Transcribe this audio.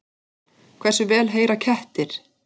Hversu vel heyra kettir?